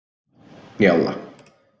Njála